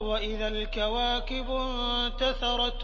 وَإِذَا الْكَوَاكِبُ انتَثَرَتْ